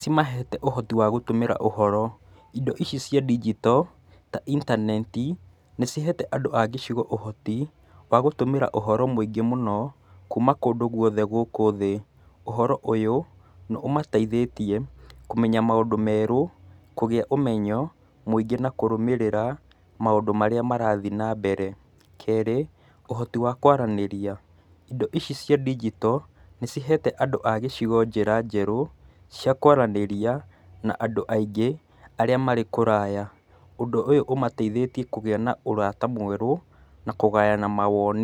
Ci mahete ũhoti wa gũtũmĩra ũhoro. Indo ici cia ndijito ta intaneti, nĩ cihete andũ a gĩcigo ũhoti wa gũtũmĩra ũhoro mũingĩ mũno kuuma kũndũ gũothe gũkũ thĩĩ. Ũhoro ũyũ nĩ ũmateithĩtie kũmenya maũndũ meerũ, kũgĩa ũmenyo mũingĩ na kũrũmĩrĩra maũndũ marĩa marathiĩ na mbere. Keerĩ, ũhoti wa kwaranĩrĩa. Indo ici cia ndijito nĩ cihete andũ a gĩcigo njĩra njerũ cia kwaranĩria na andũ aingĩ arĩa marĩ kũraya. Ũndũ ũyũ ũmateithĩtie kũgĩa na ũrata mwerũ na kũgayana mawoni.